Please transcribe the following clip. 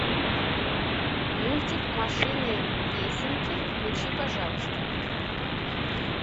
мультик машины песенки включи пожалуйста